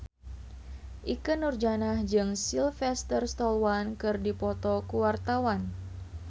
Ikke Nurjanah jeung Sylvester Stallone keur dipoto ku wartawan